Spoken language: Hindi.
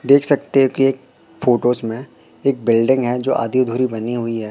देख सकते हो कि एक फोटोस में एक बिल्डिंग है जो आधी अधूरी बनी हुई है।